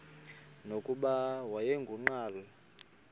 nokuba wayengu nqal